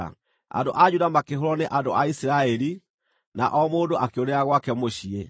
Andũ a Juda makĩhũũrwo nĩ andũ a Isiraeli, na o mũndũ akĩũrĩra gwake mũciĩ.